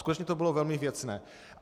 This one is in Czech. Skutečně to bylo velmi věcné.